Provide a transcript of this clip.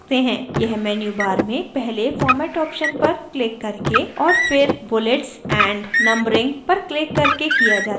यह menu bar में पहले format option पर क्लिक करके और फिर bullets and numbering पर क्लिक करके किया जाता है